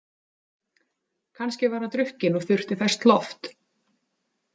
Kannski var hann drukkinn og þurfti ferskt loft.